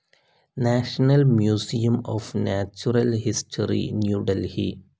national museum of natural history, new Delhi